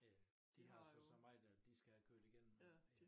Ja de har jo så meget dér de skal have kørt igennem